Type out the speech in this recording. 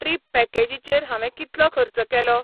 Trip पॅकेजीचेर हांवे कितलो खर्च केलो?